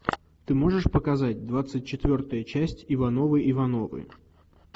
ты можешь показать двадцать четвертая часть ивановы ивановы